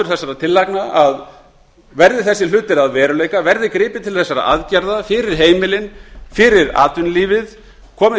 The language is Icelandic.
þessara tillagna að verði þessir hlutir að veruleika verði gripið til þessara aðgerða fyrir heimilin fyrir atvinnulífið fjárfestingu